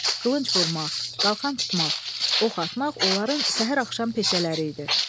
Qılınc vurmaq, qalxan tutmaq, ox atmaq onların səhər-axşam peşələri idi.